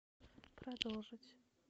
продолжить